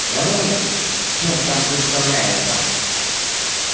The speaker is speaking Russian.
говори чем там выставляется